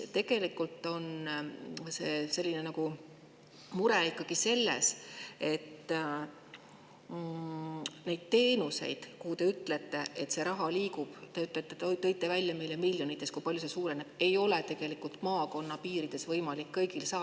Tegelikult on mure selles, et neid teenuseid, kuhu teie sõnul raha liigub – te tõite meile välja, et miljonites see suureneb –, ei ole maakonna piirides võimalik kõigil saada.